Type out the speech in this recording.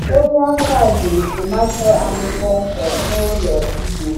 Onye ahịa zụrụ tomato anyị kpọmkwem n’ụlọ ugbo.